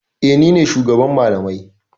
E, ni ne shugaban malamai.